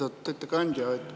Lugupeetud ettekandja!